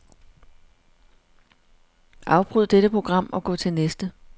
Afbryd dette program og gå til næste.